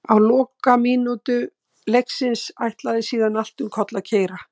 Á lokamínútum leiksins ætlaði síðan allt um koll að keyra.